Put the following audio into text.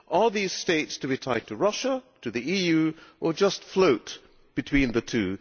Are these states to be tied to Russia, to the EU, or just float between the two?